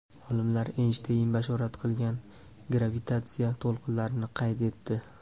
Olimlar Eynshteyn bashorat qilgan gravitatsiya to‘lqinlarini qayd etdi.